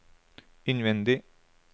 innvendig